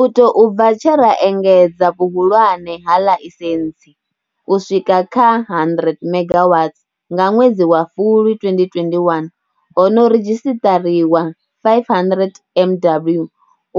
U tou bva tshe ra engedza vhuhulwane ha ḽaisentsi u swika kha 100 megawatts nga ṅwedzi wa Fulwi 2021, ho no redzhisiṱariwa 500 MW